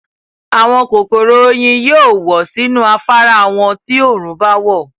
àwọn kòkòrò oyin yóò wọ̀ sínú afárá wọn ti òòrùn báwọ̀.